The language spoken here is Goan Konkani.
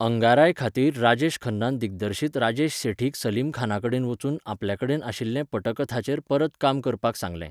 आंगारायखातीर राजेश खन्नान दिग्दर्शक राजेश सेठीक सलीमखानाकडेन वचून आपल्याकडेन आशिल्ले पटकथाचेर परत काम करपाक सांगलें.